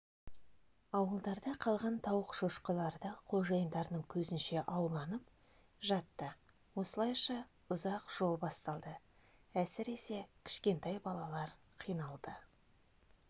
ауылдарда қалған тауық шошқаларды қожайындарының көзінше ауланып жатты осылайша ұзақ жол басталды әсіресе кішкентай балалар қиналды